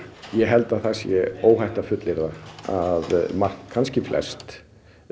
ég held að það sé óhætt að fullyrða að margt kannski flest